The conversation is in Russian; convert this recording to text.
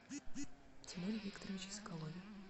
тимуре викторовиче соколове